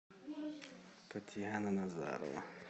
татьяна назарова